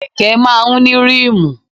Kẹ̀kẹ́ máa ń ní ríìmù.